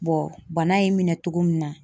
bana in minɛ togo min na .